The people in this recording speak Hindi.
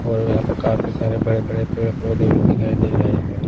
और यहाँ पर काफी सारे बड़े-बड़े पेड़ पौधे भी दिखाई दे रहे हैं।